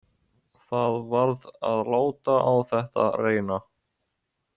Það varð að láta á þetta reyna.